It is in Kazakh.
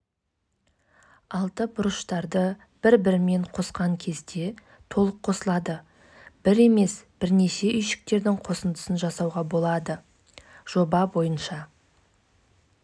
салмақтағы қазақстандық ауыр атлет жылы пекин мен жылы лондонда өткен олимпиада ойындарының жеңімпазы илья ильиннің